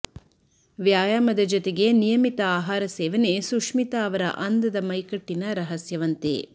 ವ್ಯಾಯಾಮದ ಜತೆಗೆ ನಿಯಮಿತ ಆಹಾರ ಸೇವನೆ ಸುಶ್ಮಿತಾ ಅವರ ಅಂದದ ಮೈಕಟ್ಟಿನ ರಹಸ್ಯವಂತೆ